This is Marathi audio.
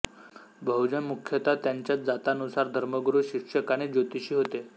बहूजन मुख्यतः त्यांच्या जातानुसार धर्मगुरू शिक्षक आणि ज्योतिषी होते